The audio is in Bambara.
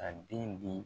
A den di